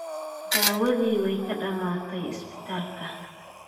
Daawadii way ka dhammaatay isbitaalka